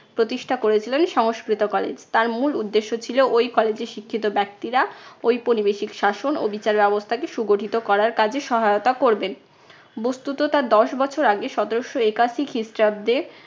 প্রতিষ্ঠা করেছিলেন সংস্কৃত college । তার মূল উদ্দেশ্য ছিল ঐ college এর শিক্ষিত ব্যক্তিরা ঔপনিবেশিক শাসন ও বিচার ব্যবস্থাকে সুগঠিত করার কাজে সহায়তা করবেন। বস্তুত তার দশ বছর আগে সতেরশো একাশি খ্রিস্টাব্দে